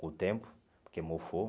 Com o tempo, porque mofou.